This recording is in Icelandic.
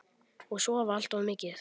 Og sofa allt of mikið.